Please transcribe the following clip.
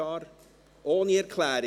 – Sogar ohne Erklärung?